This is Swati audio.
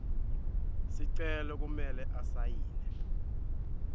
sicelo kumele asayine